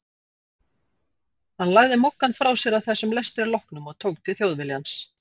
Hann lagði Moggann frá sér að þessum lestri loknum og tók til Þjóðviljans.